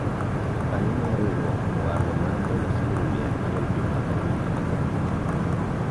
jokanyo mar riwruok owalo mar golo siling mia achiel juma ka juma kaka kungo